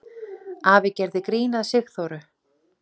Afi gerði grín að Sigþóru.